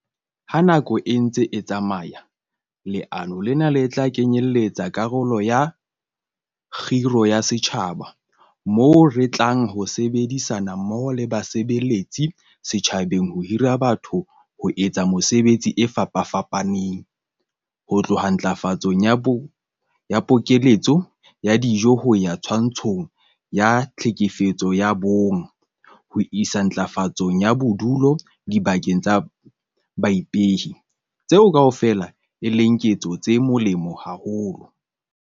Ha nako e ntse e tsamaya, leano lena le tla kenyeletsa karolo ya 'kgiro ya setjhaba' moo re tlang ho sebedisana mmoho le basebeletsi setjhabeng ho hira batho ho etsa mesebetsi e fapafapaneng - ho tloha ntlafatsong ya pokeletso ya dijo ho ya twantshong ya tlhekefetso ya bonng ho isa ntlafatsong ya bodulo dibakeng tsa baipehi - tseo kaofela e leng ketso tse molemo haholo.